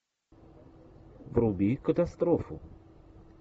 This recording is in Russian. вруби катастрофу